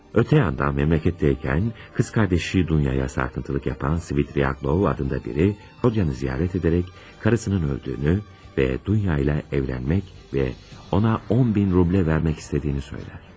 Ötə yandan, məmləkətdəykən bacısı Dunyaya narahatlıq verən Svidriqaylov adında biri Rodionu ziyarət edərək arvadının öldüyünü və Dunya ilə evlənmək, ona 10.000 rubl vermək istədiyini deyir.